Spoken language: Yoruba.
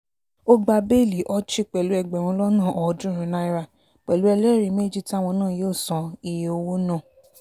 ó gba béèlì ochi pẹ̀lú ẹgbẹ̀rún lọ́nà ọ̀ọ́dúnrún náírà pẹ̀lú ẹlẹ́rìí méjì táwọn náà yóò san iye owó náà